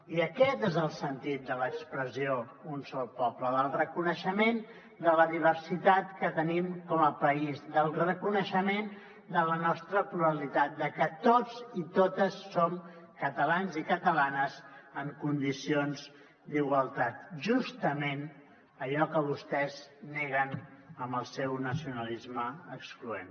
i aquest és el sentit de l’expressió un sol poble el reconeixement de la diversitat que tenim com a país el reconeixement de la nostra pluralitat de que tots i totes som catalans i catalanes en condicions d’igualtat justament allò que vostès neguen amb el seu nacionalisme excloent